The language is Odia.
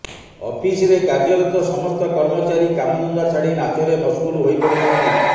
ଅଫିସରେ କାର୍ଯ୍ୟରତ ସମସ୍ତ କର୍ମଚାରୀ କାମଧନ୍ଦା ଛାଡି ନାଚରେ ମସଗୁଲ ହୋଇପଡିଛନ୍ତି